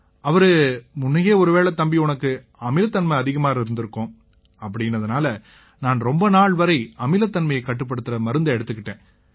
அவரு முன்னயே ஒருவேளை தம்பி உனக்கு அமிலத்தன்மை அதிகமாயிருக்கும் அப்படீன்னதால நான் ரொம்ப நாள் வரை அமிலத்தன்மையைக் கட்டுப்படுத்தற மருந்தை எடுத்துக்கிட்டேன்